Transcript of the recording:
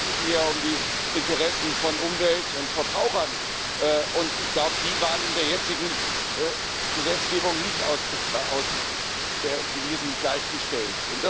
Aber ich sorge mich mehr um die Interessen von Umwelt und Verbrauchern. Ich glaube, die waren in der jetzigen Gesetzgebung nicht ausgewiesen und gleichgestellt.